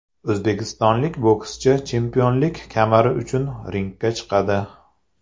O‘zbekistonlik bokschi chempionlik kamari uchun ringga chiqadi.